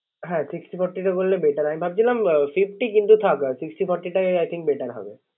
হ্যা Sixty forty করলে Better । আমি ভাবছিলাম Fifty কিন্ত থাক Sixty forty টাই I think better হবে